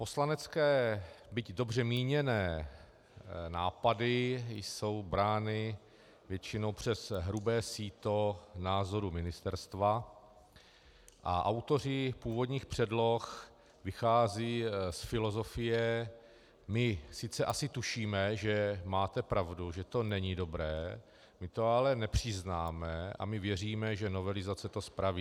Poslanecké, byť dobře míněné nápady jsou brány většinou přes hrubé síto názorů ministerstva a autoři původních předloh vycházejí z filozofie: my sice asi tušíme, že máte pravdu, že to není dobré, my to ale nepřiznáme a my věříme, že novelizace to spraví.